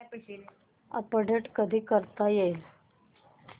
update कधी करता येईल